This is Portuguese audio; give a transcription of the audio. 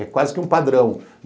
É quase que um padrão.